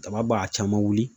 Daba b'a caman wuli .